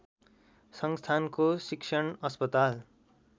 संस्थानको शिक्षण अस्पताल